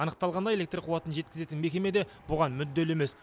анықталғандай электр қуатын жеткізетін мекеме де бұған мүдделі емес